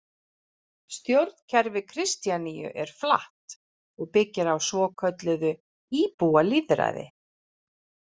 Stjórnkerfi Kristjaníu er flatt og byggir á svokölluðu íbúalýðræði.